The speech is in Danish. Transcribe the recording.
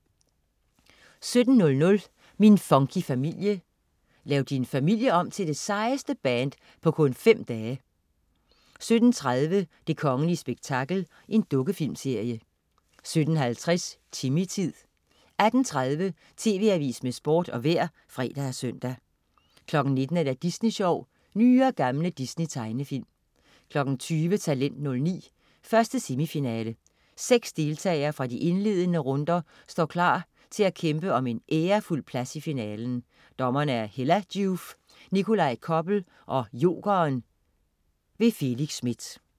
17.00 Min funky familie. Lav din familie om til det sejeste band på kun fem dage! 17.30 Det kongelige spektakel. Dukkefilmsserie 17.50 Timmy-tid 18.30 TV Avisen med Sport og Vejret (fre og søn) 19.00 Disney Sjov. Nye og gamle Disney-tegnefilm 20.00 Talent 09. 1. semifinale. Seks deltagere fra de indledende runder står klar til at kæmpe om en ærefuld plads i finalen. Dommere: Hella Joof, Nikolaj Koppel og Jokeren. Felix Smith